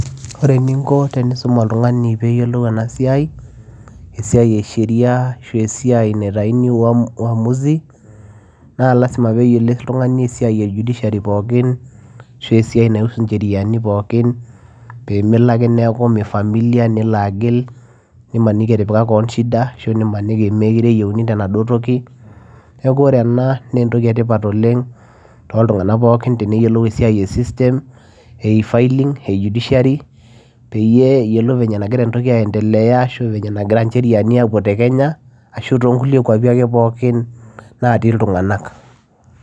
Ore eninko peyiee iisum oltunganii peyiee eyilou ena siai ee sheria ashua umuazi lazima peyiee eyilou oltunganii esiai e judiciary peyiee meloo akee agil nimaniki etipika tiwon shida neeku oree enaa naa entokii etipat teneyilou ilntunganak esiai ee judiciary e filling system peyiee eyilou [sheria]